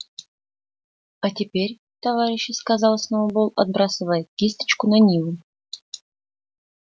а теперь товарищи сказал сноуболл отбрасывая кисточку на нивы